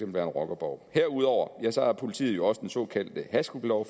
være en rockerborg herudover har politiet jo også den såkaldte hashklublov